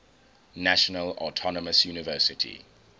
national autonomous university